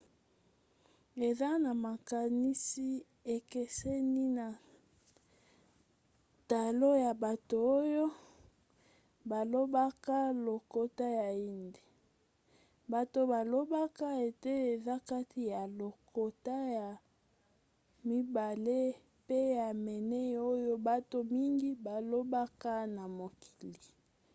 eza na makanisi ekeseni na talo ya bato oyo balobaka lokota ya hindi. bato balobaka ete eza kati ya lokota ya mibale pe ya minei oyo bato mingi balobaka na mokili